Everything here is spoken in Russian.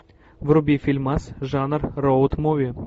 вруби фильмас жанр роуд муви